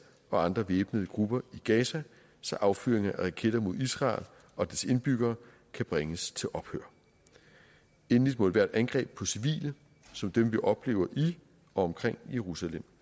og andre væbnede grupper i gaza så affyring af raketter mod israel og dets indbyggere kan bringes til ophør endelig må ethvert angreb på civile som dem vi oplever i og omkring jerusalem